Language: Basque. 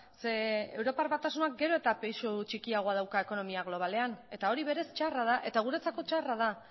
zeren eta europar batasunak gero eta pisu txikiagoa dauka ekonomia globalean eta hori berez txarra da guretzako txarra da